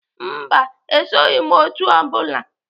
Mba, esoghị m otu o bụla.